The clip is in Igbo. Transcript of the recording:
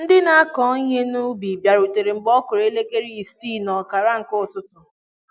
Ndị na akụ Ihe n'ubi biarutere mgbe ọkụrụ elekere isii na ọkara nke ụtụtụ